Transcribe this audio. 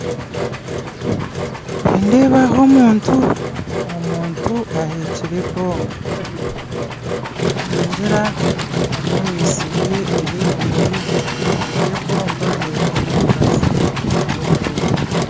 Nindeeba aho omuntu aheekire ebomba ningira ari omu misiri ye ey'ebimuri egyo ebomba neeba arimu omubazi gw'okufuuhirira